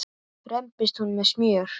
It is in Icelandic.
rembist hún með smjör.